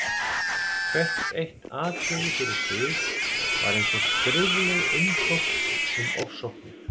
Hvert eitt atriði fyrir sig var eins og skrifleg umsókn um ofsóknir.